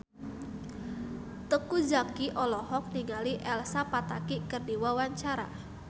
Teuku Zacky olohok ningali Elsa Pataky keur diwawancara